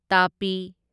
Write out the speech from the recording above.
ꯇꯥꯄꯤ